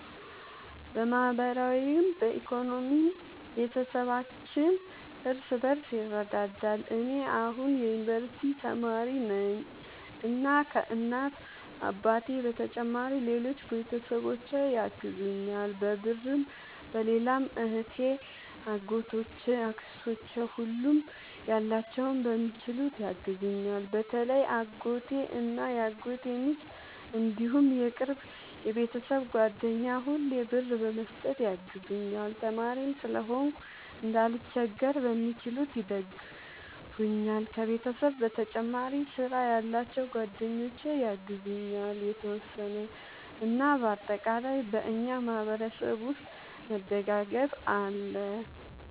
በማህበራዊም በኢኮኖሚም ቤተሰባችን እርስ በርስ ይረዳዳል። እኔ አሁን የዩንቨርስቲ ተማሪ ነኝ እና ከ እናት አባቴ በተጨማሪ ሌሎች ቤተሰቦቼ ያግዙኛል በብርም በሌላም እህቴ አጎቶቼ አክስቶቼ ሁሉም ያላቸውን በሚችሉት ያግዙኛል። በተለይ አጎቴ እና የአጎቴ ሚስት እንዲሁም የቅርብ የቤተሰብ ጓደኛ ሁሌ ብር በመስጠት ያግዙኛል። ተማሪም ስለሆንኩ እንዳልቸገር በሚችሉት ይደግፈኛል። ከቤተሰብ በተጨማሪ ስራ ያላቸው ጓደኞቼ ያግዙኛል የተወሰነ። እና በአጠቃላይ በእኛ ማህበረሰብ ውስጥ መደጋገፍ አለ